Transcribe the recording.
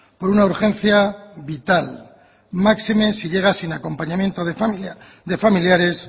con una urgencia vital máxime si llega sin acompañamiento de familiares